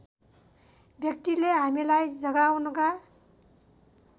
व्यक्तिले हामीलाई जगाउनका